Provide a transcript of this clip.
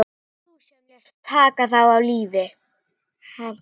Það varst þú sem lést taka þá af lífi.